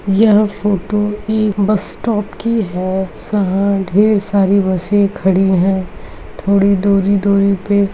यहाँ फोटो एक bus stop की है ढेर सारी बसें खड़ी हैथोड़ी दूरी दूरी पे।